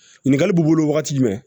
Ɲininkali b'i bolo wagati jumɛn